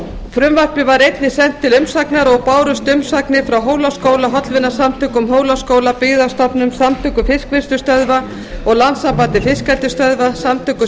frumvarpið var einnig sent til umsagnar og bárust umsagnir frá hólaskóla hollvinasamtökum hólaskóla byggðastofnun samtökum fiskvinnslustöðva og landssambandi fiskeldisstöðva samtökum